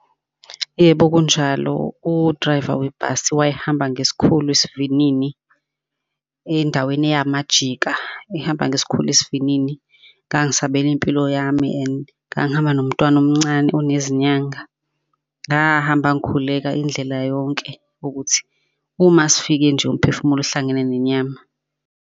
Yebo, kunjalo. U-driver webhasi wayehamba ngesikhulu esivinini endaweni eyamajika, ehamba ngesikhulu esivinini. Ngangisabela impilo yami and ngangihamba nomntwana omncane unezinyanga. Ngahamba ngikhuleka indlela yonke ukuthi uma sifike nje umphefumulo ohlangene nenyama.